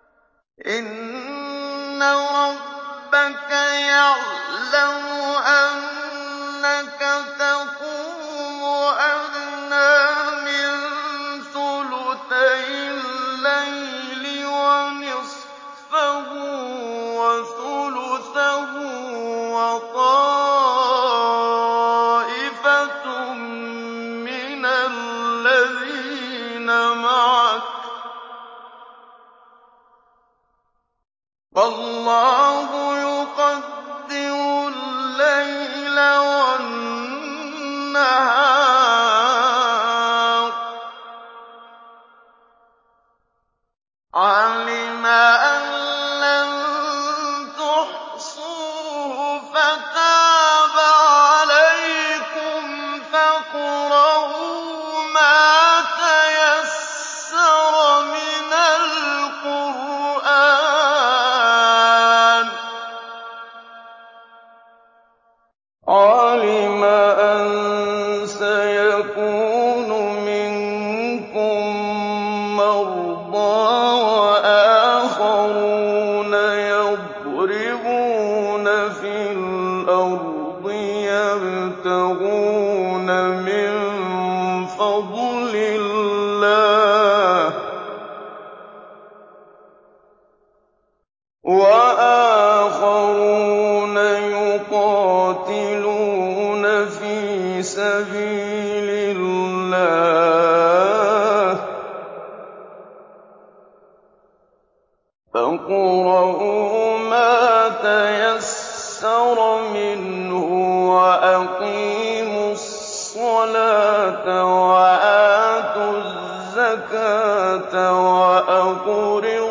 ۞ إِنَّ رَبَّكَ يَعْلَمُ أَنَّكَ تَقُومُ أَدْنَىٰ مِن ثُلُثَيِ اللَّيْلِ وَنِصْفَهُ وَثُلُثَهُ وَطَائِفَةٌ مِّنَ الَّذِينَ مَعَكَ ۚ وَاللَّهُ يُقَدِّرُ اللَّيْلَ وَالنَّهَارَ ۚ عَلِمَ أَن لَّن تُحْصُوهُ فَتَابَ عَلَيْكُمْ ۖ فَاقْرَءُوا مَا تَيَسَّرَ مِنَ الْقُرْآنِ ۚ عَلِمَ أَن سَيَكُونُ مِنكُم مَّرْضَىٰ ۙ وَآخَرُونَ يَضْرِبُونَ فِي الْأَرْضِ يَبْتَغُونَ مِن فَضْلِ اللَّهِ ۙ وَآخَرُونَ يُقَاتِلُونَ فِي سَبِيلِ اللَّهِ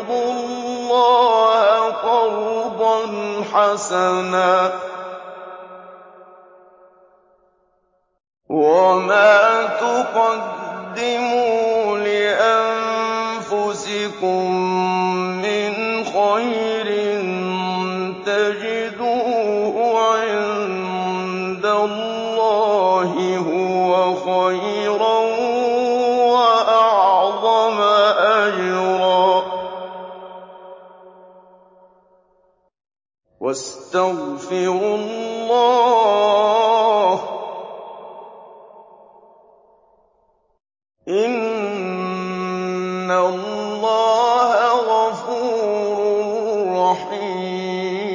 ۖ فَاقْرَءُوا مَا تَيَسَّرَ مِنْهُ ۚ وَأَقِيمُوا الصَّلَاةَ وَآتُوا الزَّكَاةَ وَأَقْرِضُوا اللَّهَ قَرْضًا حَسَنًا ۚ وَمَا تُقَدِّمُوا لِأَنفُسِكُم مِّنْ خَيْرٍ تَجِدُوهُ عِندَ اللَّهِ هُوَ خَيْرًا وَأَعْظَمَ أَجْرًا ۚ وَاسْتَغْفِرُوا اللَّهَ ۖ إِنَّ اللَّهَ غَفُورٌ رَّحِيمٌ